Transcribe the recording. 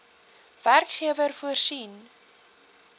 werkgewer voorsien